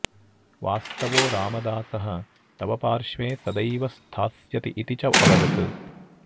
वास्तवो रामादासः तव पार्श्वे सदैव स्थास्यति इति च अवदत्